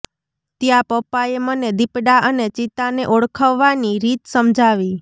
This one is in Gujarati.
ત્યાં પપ્પાએ મને દીપડા અને ચિત્તાને ઓળખવાની રીત સમજાવી